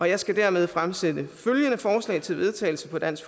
jeg skal dermed fremsætte følgende forslag til vedtagelse på dansk